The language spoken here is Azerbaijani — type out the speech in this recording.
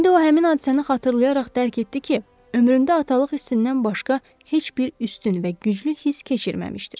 İndi o həmin hadisəni xatırlayaraq dərk etdi ki, ömründə atalıq hissindən başqa heç bir üstün və güclü hiss keçirməmişdir.